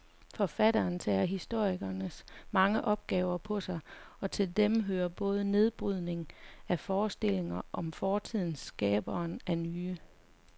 Forfatteren tager historikerens mange opgaver på sig, og til dem hører både nedbrydningen af forestillinger om fortiden skabelsen af nye.